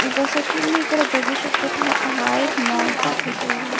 जस की मी इकडे बघू शकते तर हा एक मॉलचा फोटो आहे.